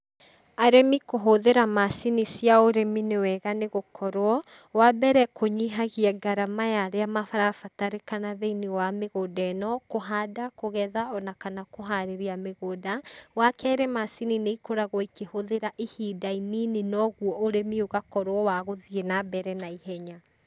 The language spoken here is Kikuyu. Arĩmi kũhũthĩra macini cia ũrĩmi nĩ wega nĩ gũkorwo, wa mbere kũnyihagia ngarama ya arĩa marabatarĩkana thĩiniĩ wa mĩgũnda ĩno, kũhanda, kũgetha ona kana kũharĩrĩa mĩgũnda, wakerĩ macini nĩ ikoragwo ikĩhũthĩra ihinda inini na ũguo ũrĩmi ũgakorwo wa gũthiĩ na mbere na ihenya.